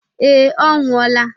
Ee, ọ nwụọla.